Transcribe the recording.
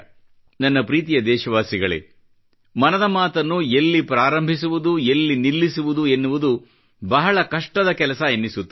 ನನ್ನ ಪ್ರೀತಿಯ ದೇಶವಾಸಿಗಳೇ ಮನದ ಮಾತನ್ನು ಎಲ್ಲಿ ಪ್ರಾರಂಭಿಸುವುದು ಎಲ್ಲಿ ನಿಲ್ಲಿಸುವುದು ಎನ್ನುವುದು ಬಹಳ ಕಷ್ಟದ ಕೆಲಸ ಎನ್ನಿಸುತ್ತದೆ